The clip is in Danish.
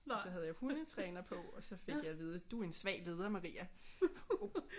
Så havde jeg hundetræner på og så fik jeg at vide du er en svag leder Maria